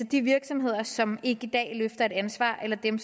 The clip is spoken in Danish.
de virksomheder som ikke i dag løfter et ansvar eller dem